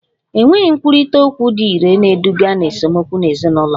Enweghị nkwurịta okwu dị irè ga-eduga ná esemokwu n'ezinụlọ